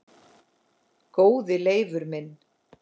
Góði Leifur minn